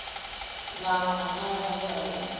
na na phara ya u